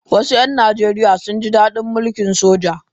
Wasu ‘yan Najeriya sun ji dadin mulkin soja.